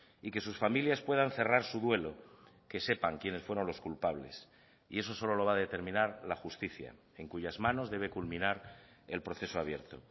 y que sus familias puedan cerrar su duelo que sepan quienes fueron los culpables y eso solo lo va a determinar la justicia en cuyas manos debe culminar el proceso abierto